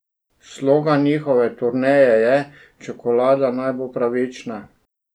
Slogan njihove turneje je Čokolada naj bo pravična!